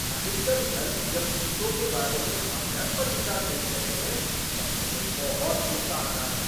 अधिकतर धर्म जब भूतों के बारे में हास्यास्पद विचार पेश करते हैं तब मुझे बहुत गुस्सा आता है।